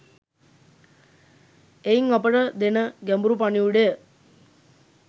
එයින් අපට දෙන ගැඹුරු පණිවුඩය